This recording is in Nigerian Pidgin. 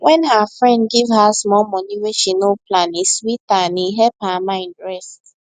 when her friend give her small money wey she no plan e sweet her and e help her mind rest